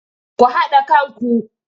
Ku haɗa kanku!